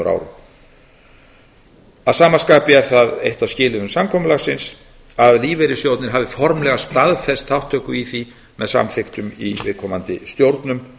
árum að sama skapi er það eitt af skilyrðum samkomulagsins að lífeyrissjóðirnir hafi staðfest formlega þátttöku í því með samþykktum í viðkomandi stjórnum